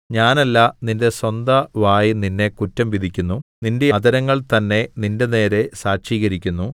ഞാനല്ല നിന്റെ സ്വന്തവായ് നിന്നെ കുറ്റം വിധിക്കുന്നു നിന്റെ അധരങ്ങൾ തന്നെ നിന്റെനേരെ സാക്ഷീകരിക്കുന്നു